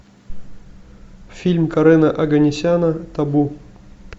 фильм карена оганесяна табу